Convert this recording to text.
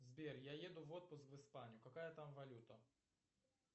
сбер я еду в отпуск в испанию какая там валюта